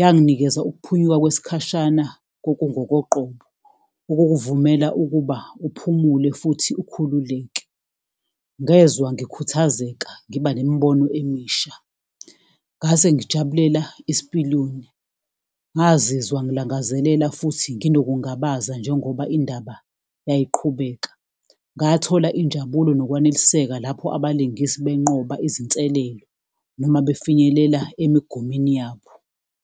Yanginikeza ukuphunyuka kwesikhashana kokungokoqobo, okukuvumela ukuba uphumule futhi ukhululeke. Ngezwa ngikhuthazeka, ngiba nemibono emisha, ngase ngijabulela isipiliyoni. Ngazizwa ngilangazelela futhi nginokungabaza, njengoba indaba yayiqhubeka. Ngathola injabulo nokwaneliseka lapho abalingisi benqoba izinselelo noma befinyelela emigomeni yabo.